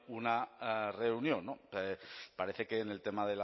una reunión parece que en el tema